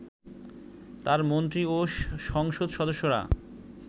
তাঁর মন্ত্রী ও সংসদ সদস্যরা